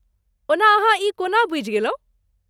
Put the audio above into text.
ओना अहाँ ई कोना बुझि गेलहुँ?